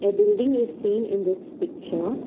A building is seen in this picture.